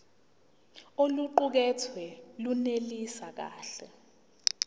oluqukethwe lunelisi kahle